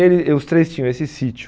Ele e os três tinham esse sítio.